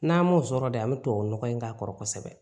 N'an ma o sɔrɔ de an bɛ tubabu nɔgɔ in k'a kɔrɔ kosɛbɛ